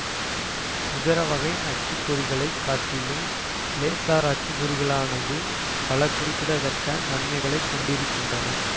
இதர வகை அச்சுப்பொறிகளைக் காட்டிலும் லேசர் அச்சுப்பொறிகளானது பல குறிப்பிடத்தக்க நன்மைகளைக் கொண்டிருக்கின்றன